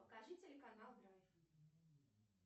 покажи телеканал драйв